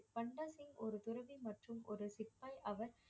பண்டா சிங் ஒரு துறவி மற்றும் ஒரு சிப்பாய் அவர்